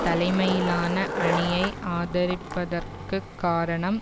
தலைமையிலான அணியை ஆதரிப்பதற்குக் காரணம்